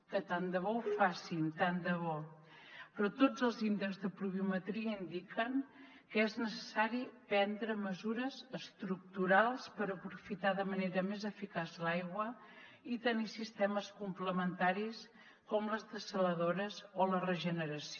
que tant de bo ho facin tant de bo però tots els índexs de pluviometria indiquen que és necessari prendre mesures estructurals per aprofitar de manera més eficaç l’aigua i tenir sistemes complementaris com les dessaladores o la regeneració